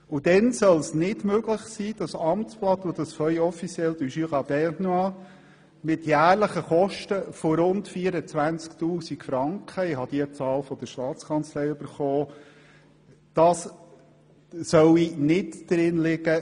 Und dabei soll es nicht möglich sein, das Amtsblatt des Kantons Bern und das Feuille officielle du Jura bernois mit jährlichen Kosten von rund 24 000 Franken – diese Zahl habe ich von der Staatskanzlei erhalten – elektronisch zu publizieren?